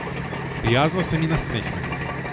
Prijazno se mi nasmehne.